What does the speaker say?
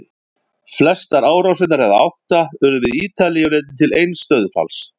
Flestar árásirnar, eða átta, urðu við Ítalíu og leiddu til eins dauðsfalls.